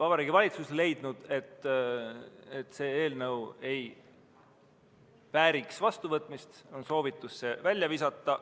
Vabariigi Valitsus leidnud, et see eelnõu ei vääri vastuvõtmist, ja on soovitanud selle välja visata.